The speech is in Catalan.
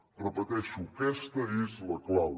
ho repeteixo aquesta és la clau